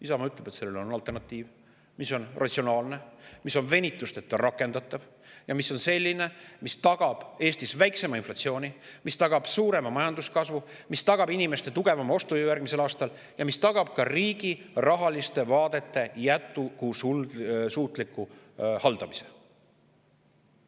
Isamaa ütleb, et sellele on alternatiiv, mis on ratsionaalne, venitusteta rakendatav ja mis tagab Eestis väiksema inflatsiooni, tagab suurema majanduskasvu, tagab inimeste tugevama ostujõu järgmisel aastal ja tagab ka riigi rahaliste vaadete jätkusuutliku haldamise.